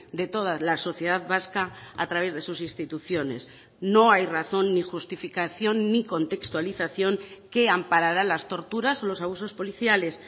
de toda la sociedad vasca a través de sus instituciones no hay razón ni justificación ni contextualización que amparara las torturas los abusos policiales